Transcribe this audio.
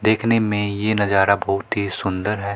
देखने में ये नजारा बहुत ही सुंदर है।